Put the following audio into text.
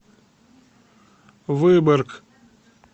выборг